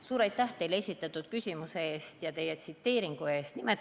Suur aitäh teile esitatud küsimuse ja tsiteeringu eest!